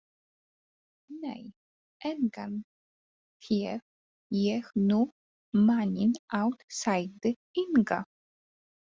Nei, engan hef ég nú manninn átt, sagði Inga.